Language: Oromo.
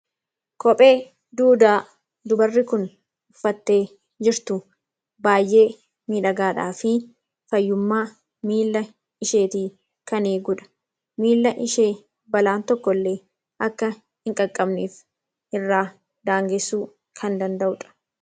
Kophee duudaa dubarri kun uffattee jirtu, baayyee miidhagaadhafi fayyummaa miila isheetii kana eegudha. Miila ishee balaan tokkollee akka hin qaqqabneef irraa daangessuu kan danda'udha.